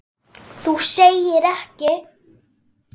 Þú segir ekki!?!